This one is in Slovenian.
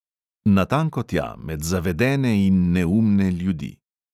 Natanko tja, med zavedene in neumne ljudi.